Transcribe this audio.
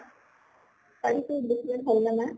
তাইৰ যে হʼল নে নাই?